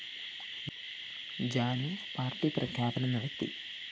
Janu party പ്രഖ്യാപനം നടത്തി